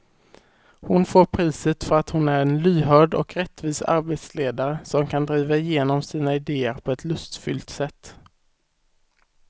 Hon får priset för att hon är en lyhörd och rättvis arbetsledare som kan driva igenom sina idéer på ett lustfyllt sätt.